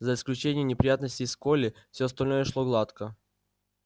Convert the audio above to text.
за исключением неприятностей с колли все остальное шло гладко